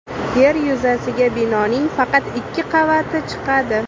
Yer yuzasiga binoning faqat ikki qavati chiqadi.